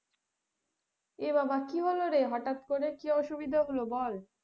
এ বাবা কি হলো রে হঠাৎ করে কি অসুবিধা হল বল?